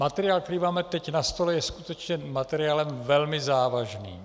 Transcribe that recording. Materiál, který teď máme na stole, je skutečně materiálem velmi závažným.